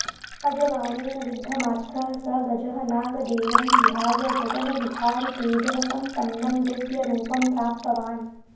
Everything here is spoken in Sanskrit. अजबाणेन विद्धमात्रः स गजः नागदेहं विहाय गगनविहारि तेजःसम्पन्नं दिव्यरूपं प्राप्तवान्